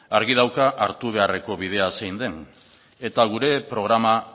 argi dauka hartu beharreko bidea zein eta gure programa